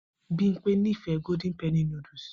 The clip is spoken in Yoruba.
Bimpe nífẹ̀ẹ́ golden penny núdúsì